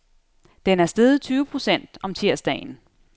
Den er steget tyve procent om tirsdagen.